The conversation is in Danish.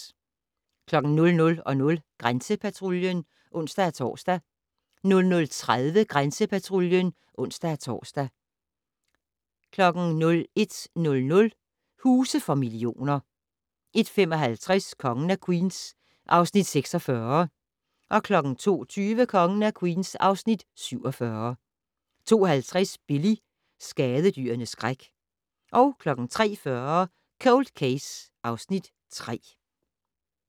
00:00: Grænsepatruljen (ons-tor) 00:30: Grænsepatruljen (ons-tor) 01:00: Huse for millioner 01:55: Kongen af Queens (Afs. 46) 02:20: Kongen af Queens (Afs. 47) 02:50: Billy - skadedyrenes skræk 03:40: Cold Case (Afs. 3)